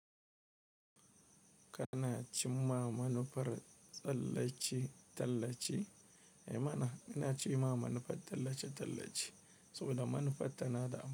Kana cimma manufar tallace-tallace? Eh mana, ina cimma manufar tsallace-tallace saboda manufata na da.